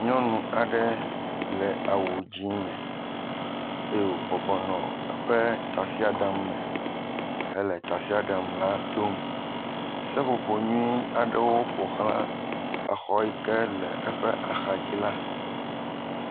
Nyɔnu aɖe le awu dzɛ̃ me eye wòbɔbɔ nɔ eƒe tasiaɖam me hele tasiaɖam la dom. Seƒoƒo nyui aɖewo ƒo xla exɔ yike le eƒe axadzi la.